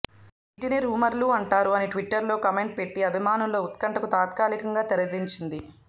వీటినే రూమర్లు అంటారు అని ట్విట్టర్లో కామెంట్ పెట్టి అభిమానుల్లో ఉత్కంటకు తాత్కాలికంగా తెరదించింది